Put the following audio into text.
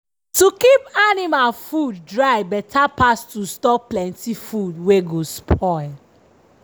to keep anima food dry beta pass to store plenty food wey go spoil.